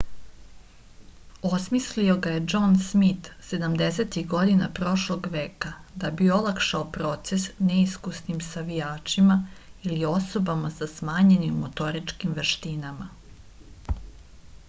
osmislio ga je džon smit sedamdesetih godina prošlog veka da bi olakšao proces neiskusnim savijačima ili osobama sa smanjenim motoričkim veštinama